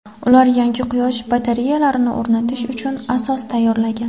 Ular yangi quyosh batareyalarini o‘rnatish uchun asos tayyorlagan.